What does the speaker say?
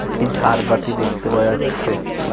একটি ঝাড়বাতি দেখতে পাওয়া যাচ্ছে।